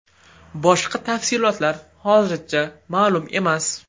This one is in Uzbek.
Boshqa tafsilotlar hozircha ma’lum emas.